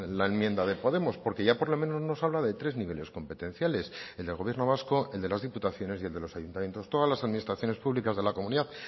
la enmienda de podemos porque ya por lo menos nos habla de tres niveles competenciales el del gobierno vasco el de las diputaciones y el de los ayuntamientos todas las administraciones públicas de la comunidad